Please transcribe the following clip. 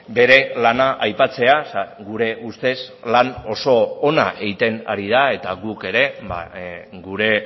bere lana aipatzea gure ustez lan oso ona egiten ari da eta guk ere gure